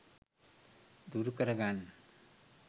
දුරු කර ගන්න.